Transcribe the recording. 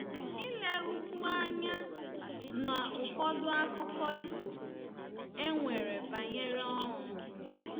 Ilerukwu Anya n’Ụfọdụ Akụkọ Ifo E Nwere Banyere Ọnwụ.